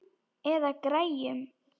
Eða græjur.